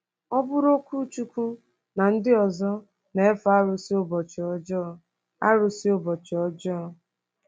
Ọ bụụrụ Okwuchukwu na ndị ọzọ na-efe arụsị ụbọchị ọjọọ. arụsị ụbọchị ọjọọ.